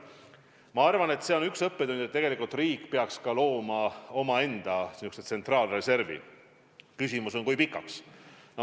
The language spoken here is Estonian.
Ma arvan, et see on üks õppetund, et tegelikult riik peaks looma omaenda tsentraalreservi, küsimus on, kui pikaks perioodiks.